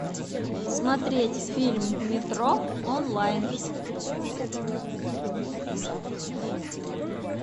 смотреть фильм метро онлайн